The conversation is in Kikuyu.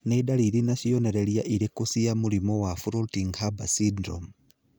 Nĩ ndariri na cionereria irĩkũ cia mũrimũ wa Floating Harbor syndrome?